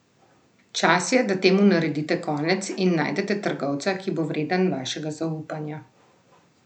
Čas je, da temu naredite konec in najdete trgovca, ki bo vreden vašega zaupanja!